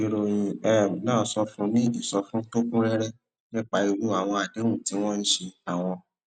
ìròyìn um náà fúnni ní ìsọfúnni tó kún réré nípa irú àwọn àdéhùn tí wọn ṣe àwọn